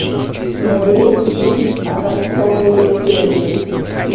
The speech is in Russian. набери фильм образцовые семьи